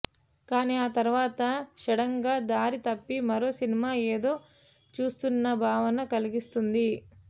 కానీ ఆ తర్వాత సడన్గా దారి తప్పి మరో సినిమా ఏదో చూస్తోన్న భావన కలిగిస్తుంది